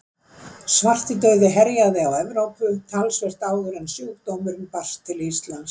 Svartidauði herjaði á Evrópu töluvert áður en sjúkdómurinn barst til Íslands.